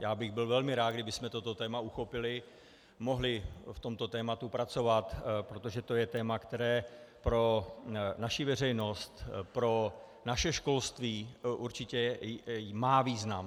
Já bych byl velmi rád, kdybychom toto téma uchopili, mohli v tomto tématu pracovat, protože to je téma, které pro naší veřejnost, pro naše školství určitě má význam.